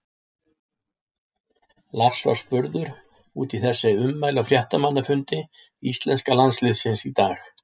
Lars var spurður út í þessi ummæli á fréttamannafundi íslenska landsliðsins í dag.